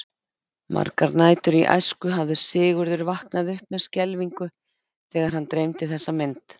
Margar nætur í æsku hafði Sigurður vaknað upp með skelfingu þegar hann dreymdi þessa mynd.